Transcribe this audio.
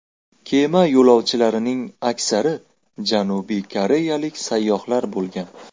Kema yo‘lovchilarining aksari Janubiy koreyalik sayyohlar bo‘lgan.